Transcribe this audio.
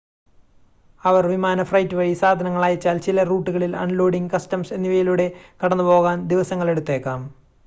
അവർ വിമാന ഫ്രൈറ്റ് വഴി സാധനങ്ങൾ അയച്ചാൽ ചില റൂട്ടുകളിൽ അൺലോഡിംഗ് കസ്റ്റംസ് എന്നിവയിലൂടെ കടന്നുപോകാൻ ദിവസങ്ങളെടുത്തേക്കാം